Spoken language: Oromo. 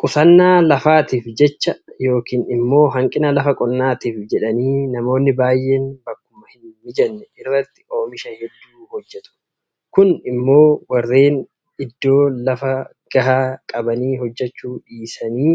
Qusannaa kafaatiif jecha yookiin immoo hanqina lafa qonnaatiif jedhanii namoonni baay'een bakkuma hinmijanne irratti oomisha hedduu hojjetu. Kun immoo warreen itoo lafa gahaa qabanii hojjechuu dhiisanii